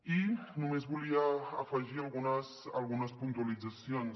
i només volia afegir algunes puntualitzacions